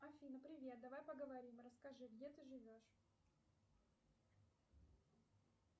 афина привет давай поговорим расскажи где ты живешь